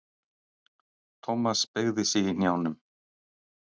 Thomas beygði sig í hnjánum.